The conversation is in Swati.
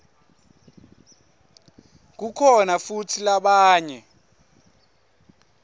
kukhona futsi labanye